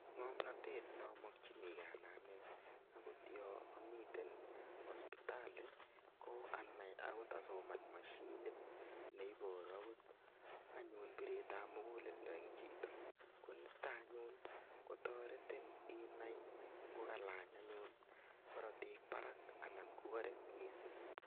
Ng'omnotet namokchinigei anai ane akot yo amite hospitali ko anai akot asoman mashinit neiboru akot anyun biretab mukuleldo ing' chito konito anyun kotoretin inai ngokalany anyun korotik barak anan ngukarek mising'